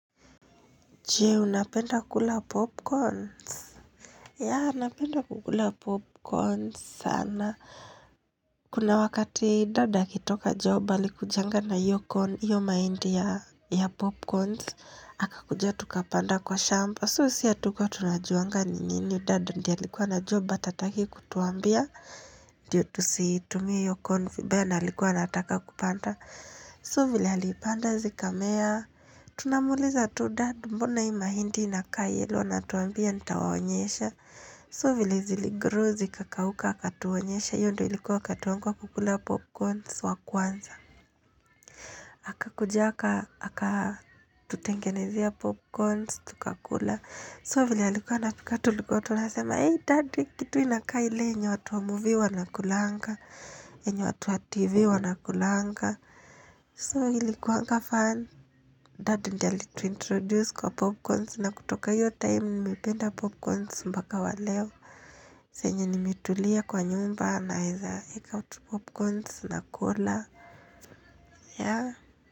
Je, unapenda kukula popcorns? Ya, napenda kukula popcorns sana. Kuna wakati, dad akitoka job alikujanga na hiyo corn, hiyo mahindi ya popcorns. Akakuja tukapanda kwa shamba. So, si hatukua tunajuanga ni nini, dad ndii alikuwa anajua but hataki kutuambia. Ndio, tusitumie hiyo corn vibaya na alikuwa anataka kupanda. So, vile alipanda zikamea. Tunamuuliza tu dad mbona hii mahindi inakaa yellow anatuambia nitawaonyesha so vile ziligrow zikakauka akatuonyesha hiyo ndo ilikuwa wakati wangu wa kukula popcorns wa kwanza akakuja aka akatutengenezea popcorns tukakula so vile alikuwa anapika tulikuwa tunasema eey dad hii kitu inakaa ile yenye watu wa movie wanakulanga yenye watu wa tv wanakulanga so ilikuanga fun, dad ndio alituintroduce kwa popcorns na kutoka hiyo time nimependa popcorns mbaka wa leo. Senye nimetulia kwa nyumba naeza eka utu popcorns na cola. Ya.